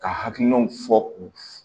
Ka hakilinaw fɔ u